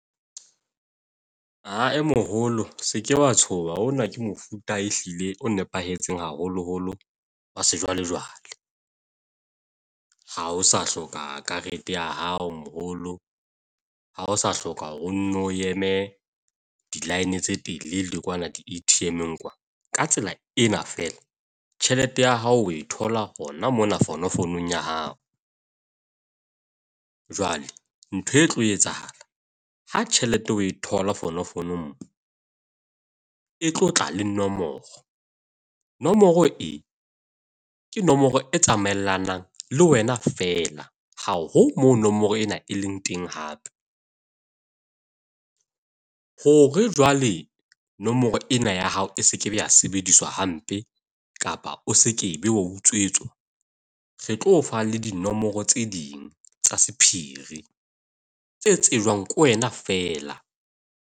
A moholo se ke wa tshoha hona ke mofuta ehlile o nepahetseng haholoholo wa sejwalejwale. Ha o sa hloka karete ya hao moholo, ha o sa hloka hore o nno o eme di-line tse telele kwana di-A_T_M-ng kwana. Ka tsela ena fela, tjhelete ya hao o e thola hona mona fonofonong ya hao. Jwale ntho e tlo etsahala, ha tjhelete o e thola fonofonong e tlotla le nomoro. Nomoro e ke nomoro e tsamaellanang le wena feela, haho mo nomoro ena e leng teng hape. Hore jwale nomoro ena ya hao e sekebe ya sebediswa hampe, kapa o sekebe wa utswetswa. Re tlo fa le dinomoro tse ding tsa sephiri tse tsejwang ke wena feela.